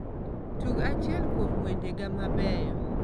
Tug achiel kuom wendega mabeyo